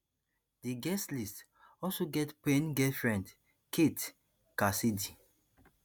di guest list also get payne girlfriend kate cassidy